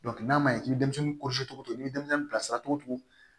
n'a man ɲi i bɛ denmisɛnnin kɔlɔsi cogo ni denmisɛnnin bilasira togo